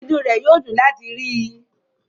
Inú rẹ̀ yóò dùn láti rí i.